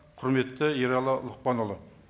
құрметті ералы лұқпанұлы